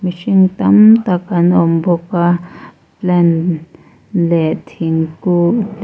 mihring tam tak an awm bawk a plant leh thingkung te--